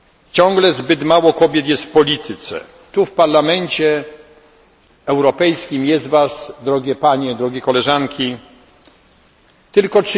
Ciągle zbyt mało kobiet jest w polityce, tu w Parlamencie Europejskim jest Was, drogie Panie, drogie Koleżanki, tylko